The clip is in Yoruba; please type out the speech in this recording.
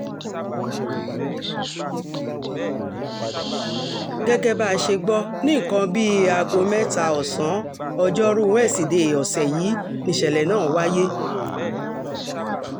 gẹ́gẹ́ bá a ṣe gbọ́ ní nǹkan bíi aago mẹ́ta ọ̀sán ọjọ́rùú wesidẹ̀ẹ́ ọ̀sẹ̀ yìí nìṣẹ̀lẹ̀ náà wáyé